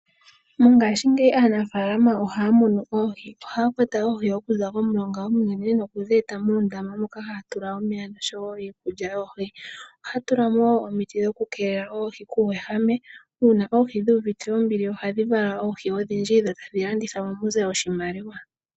Mongashingeyi aanafalama oha munu oohi. Oha kwata oohi okuza mo mulonga nokudhi eta moondama moka haa tula omeya noshowo iikulya yoohi. Ohaya tulamo wo omiti okukeelela oohi kuuwehame una oohi dhi uvite ombili ohadhi vala oohi odhindji dho tadhi landithwa mu ze oshimaliwa.